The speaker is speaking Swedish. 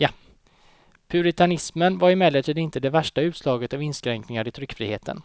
Puritanismen var emellertid inte det värsta utslaget av inskränkningar i tryckfriheten.